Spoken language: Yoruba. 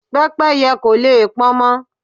Pẹ́pẹ́yẹ́ kò le pọnmọ.